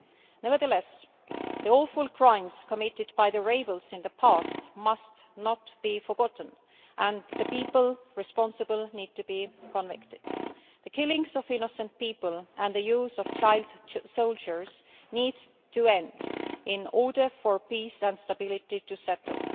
Nevertheless, the awful crimes committed by the rebels in the past must not be forgotten and the people responsible need to be convicted. The killings of innocent people and the use of child soldiers needs to end in order for peace and stability to settle.